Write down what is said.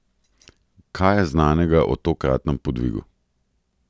Kaj je znanega o tokratnem podvigu?